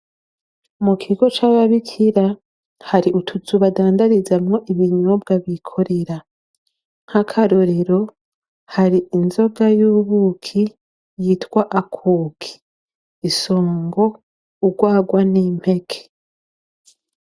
Mu kigo c'ababikira hari utuzu badandarizamwo ibinyobwa bikorera. Nk'akarorero hari inzoga y'ubuki yitwa akuki, insongo, urwarwa, n'impeke.